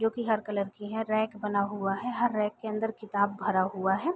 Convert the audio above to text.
जोकि हर कलर की हैं। रैक बना हुआ है। हर रैक के अंदर किताब भरा हुआ है।